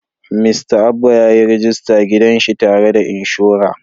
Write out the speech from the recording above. Mista Abba ya yi rajista gidan shi tare da inshora.